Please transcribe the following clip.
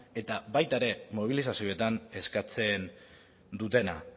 eta baita ere mobilizazioetan eskatzen dutena